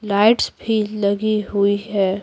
Lights भी लगी हुई है।